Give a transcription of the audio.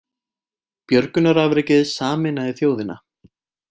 Björgunarafrekið sameinaði þjóðina